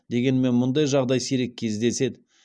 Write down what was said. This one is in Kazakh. дегенмен мұндай жағдай сирек кездеседі